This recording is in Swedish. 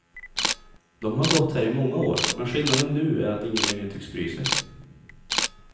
De har gått här i många år, men skillnaden nu är att ingen längre tycks bry sig.